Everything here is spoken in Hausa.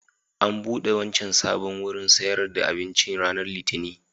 An buɗe wancan sabon wurin sayar da abincin ranar Litinin